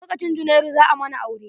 Lokcin junairu, za a mana aure.